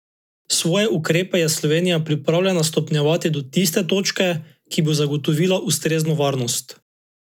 Svoje ukrepe je Slovenija pripravljena stopnjevati do tiste točke, ki bo zagotovila ustrezno varnost.